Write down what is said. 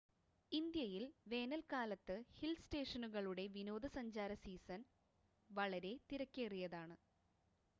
ഇന്ത്യയിൽ വേനൽക്കാലത്ത് ഹിൽ സ്റ്റേഷനുകളുടെ വിനോദസഞ്ചാര സീസൺ വളരെ തിരക്കേറിയതാണ്